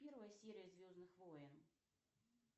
первая серия звездных войн